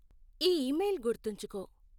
ఈ ఇమెయిల్ గుర్తుంచుకో